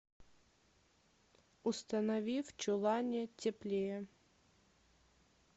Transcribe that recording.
установи в чулане теплее